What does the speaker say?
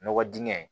Nɔgɔ dingɛ